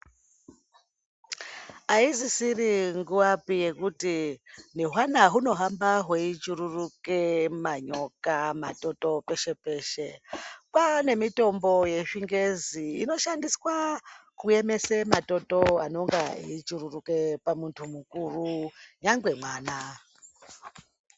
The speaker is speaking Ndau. Aisisiri nguwapi yekuti nehwana hunohamba hweichuruke manyoka matoto peshe peshe kwane mitombo yezvingezi inoshandiswa kuemesa matoto anonge eichururuka pamundu mukuru nyangwe mwana.